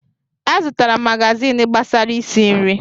Azụtara m magazin gbasara isi nri.